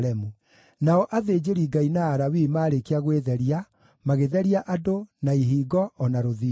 Nao athĩnjĩri-Ngai na Alawii marĩkia gwĩtheria, magĩtheria andũ, na ihingo, o na rũthingo.